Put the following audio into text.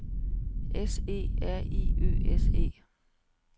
S E R I Ø S E